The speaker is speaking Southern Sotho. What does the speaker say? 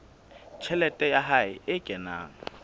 tjhelete ya hae e kenang